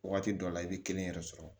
Waati dɔw la i bɛ kelen yɛrɛ sɔrɔ